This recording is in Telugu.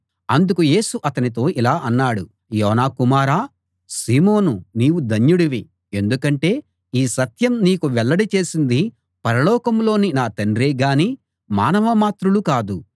అందుకు యేసు అతనితో ఇలా అన్నాడు యోనా కుమారా సీమోనూ నీవు ధన్యుడివి ఎందుకంటే ఈ సత్యం నీకు వెల్లడి చేసింది పరలోకంలోని నా తండ్రే గాని మానవ మాత్రులు కాదు